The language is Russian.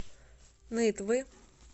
нытвы